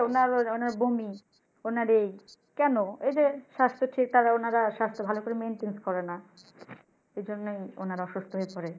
কি হয়েছে ওনার বমি ওনার এই কেনো এই যে এই যে স্বাস্থ্য টি ওনারা স্বাস্থ্য ভালো ভাবে maintain করে না সে জন্য ওনারা অসুস্থ ওনারা অসুস্থ হয়ে পরে